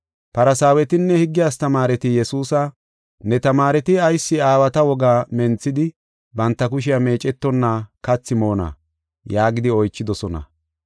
Farsaawetinne higge astamaareti Yesuusa, “Ne tamaareti ayis aawata wogaa menthidi banta kushiya meecetonna kathi moonna?” yaagidi oychidosona.